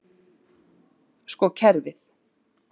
Sko kerfið.